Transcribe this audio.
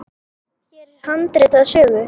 Hér er handrit að sögu.